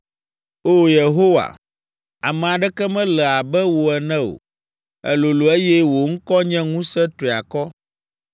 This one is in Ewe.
O Yehowa, ame aɖeke mele abe wò ene o; èlolo eye wò ŋkɔ nye ŋusẽ triakɔ.